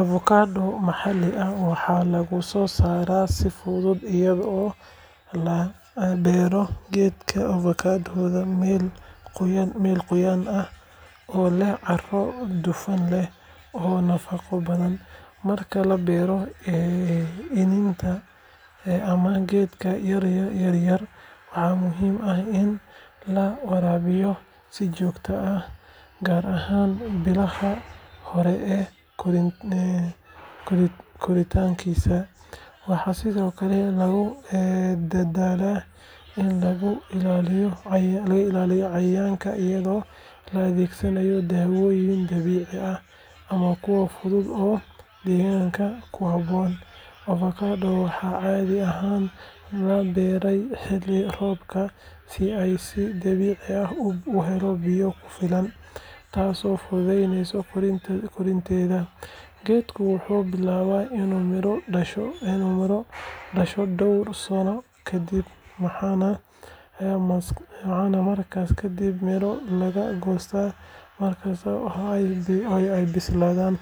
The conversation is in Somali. Avokado maxalli ah waxaa lagu soo saaraa si fudud iyadoo la beero geedka avokadada meel qoyaan leh oo leh carro dufan leh oo nafaqo badan. Marka la beero iniinta ama geedka yaryar, waxaa muhiim ah in la waraabiyo si joogto ah, gaar ahaan bilaha hore ee koritaankiisa. Waxaa sidoo kale lagu dadaalaa in laga ilaaliyo cayayaanka iyadoo la adeegsanayo daawooyin dabiici ah ama kuwo fudud oo deegaanka ku habboon. Avokadada waxaa caadi ahaan la beeraa xilli roobaadka si ay si dabiici ah u helo biyo ku filan, taasoo fududeysa koritaankeeda. Geedku wuxuu bilaabaa inuu miro dhasho dhowr sano kadib, waxaana markaas kadib miro laga goostaa mar kasta oo ay bislaadaan.